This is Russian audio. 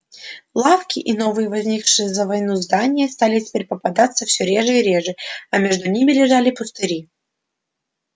лавки и новые возникшие за войну здания стали теперь попадаться все реже и реже а между ними лежали пустыри